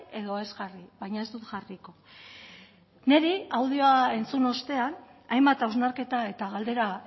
edo ez jarri baina ez dut jarriko niri audioa entzun ostean hainbat hausnarketa eta galdera